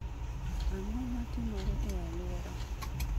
ang'o matimore e alwora